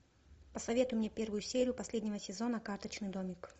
посоветуй мне первую серию последнего сезона карточный домик